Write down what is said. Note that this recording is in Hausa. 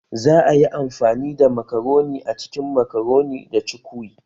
Za a yi amfani da makaroni a cikin makaroni da cukwi